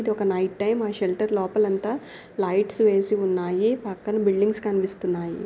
ఇది ఒక night time ఆ షెల్టర్ లోపల అంత లైట్స్ వేసి ఉన్నాయి పక్కన బిల్డింగ్స్ కనిపిస్తున్నాయి.